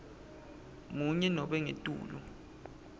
munye nobe ngetulu